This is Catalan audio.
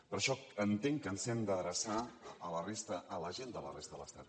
per això entenc que ens hem d’adreçar a la resta a la gent de la resta de l’estat